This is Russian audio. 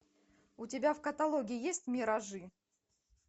у тебя в каталоге есть миражи